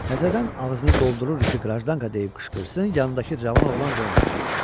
Təzədən ağzını doldururdu ki, qrajdanka deyib qışqırsın, yanındakı cavan oğlan qoymadı.